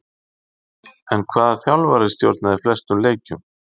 En hvaða þjálfari stjórnaði flestum leikjum?